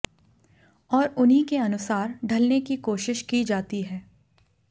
और उन्ही के अनुसार ढलने की कोशिश की जाती है